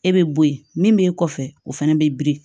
E bɛ bɔ yen min bɛ kɔfɛ o fana bɛ biri